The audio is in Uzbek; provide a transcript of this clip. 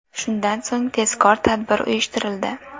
Shundan so‘ng tezkor tadbir uyushtirildi.